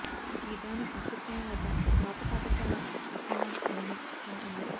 ఈ దాని అత్యుత్తమ వద్ద పాత పాఠశాల పోకీమాన్ అనిమే ఫన్ ఉంది